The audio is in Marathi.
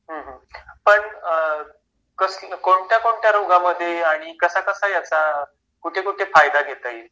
हा हा पण कोणत्या कोणत्या रोगांमध्ये आणि कसा कसा याचा कुठे कुठे फायदा घेता येईल